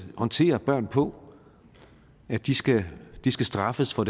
håndtere børn på at de skal de skal straffes for